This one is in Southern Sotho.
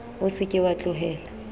o se ke wa tlohela